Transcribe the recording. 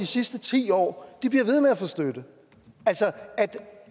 sidste ti år bliver ved med at få støtte altså